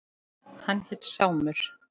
Hann hét Sámur.